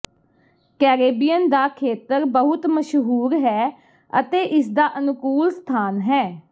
Caribbean ਦਾ ਖੇਤਰ ਬਹੁਤ ਮਸ਼ਹੂਰ ਹੈ ਅਤੇ ਇਸਦਾ ਅਨੁਕੂਲ ਸਥਾਨ ਹੈ